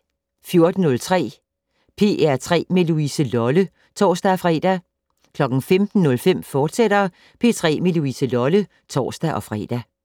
14:03: P3 med Louise Lolle (tor-fre) 15:05: P3 med Louise Lolle, fortsat (tor-fre)